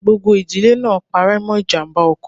Gbogbo ìdílé náà pare mọ ijàmbá ọkọ̀.